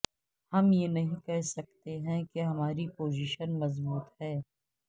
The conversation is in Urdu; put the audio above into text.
ہم یہ نہیں کہہ سکتے کہ ہماری پوزیشن مضبوط ہے